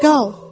Qal!